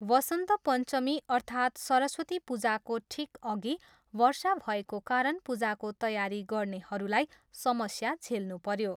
वसन्त पञ्चमी अर्थात् सरस्वती पूजाको ठिक अघि वर्षा भएको कारण पूजाको तयारी गर्नेहरूलाई समस्या झेल्नुपऱ्यो।